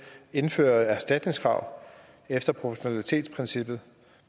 indføre et erstatningskrav efter proportionalitetsprincippet